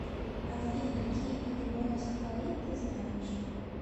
афина какие виды моносахарид ты знаешь